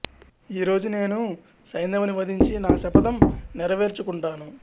ఈ రోజు నేను సైంధవుని వధించి నా శపథం నెరవేర్చుకుంటాను